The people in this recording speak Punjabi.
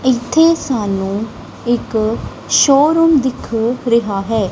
ਇੱਥੇ ਸਾਨੂੰ ਇੱਕ ਸ਼ੋਰੂਮ ਦਿਖ ਰਿਹਾ ਹੈ।